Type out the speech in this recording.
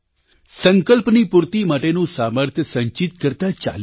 સંકલ્પની પૂર્તિ માટેનું સામર્થ્ય સંચિત કરતા ચાલીએ